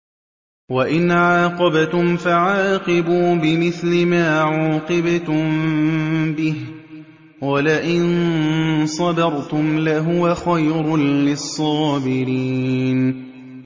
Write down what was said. وَإِنْ عَاقَبْتُمْ فَعَاقِبُوا بِمِثْلِ مَا عُوقِبْتُم بِهِ ۖ وَلَئِن صَبَرْتُمْ لَهُوَ خَيْرٌ لِّلصَّابِرِينَ